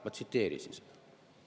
Ma tsiteerisin seda.